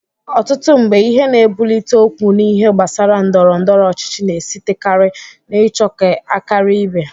Ọtụtụ mgbe, ihe na-ebulite okwu n'ihe gbasara ndọrọndọrọ ọchịchị na-esitekari n'ịchọ ka a karia ibe.